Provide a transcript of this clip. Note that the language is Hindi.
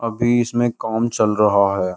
अभी इसमें काम चल रहा है।